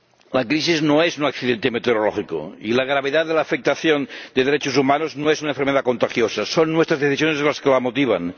La crisis no es un accidente meteorológico y la gravedad de la afectación de derechos humanos no es una enfermedad contagiosa son nuestras decisiones las que la motivan.